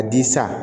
A di san